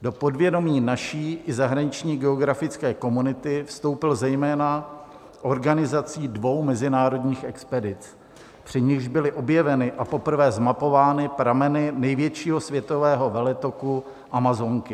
Do povědomí naší i zahraniční geografické komunity vstoupil zejména organizací dvou mezinárodních expedic, při nichž byly objeveny a poprvé zmapovány prameny největšího světového veletoku Amazonky.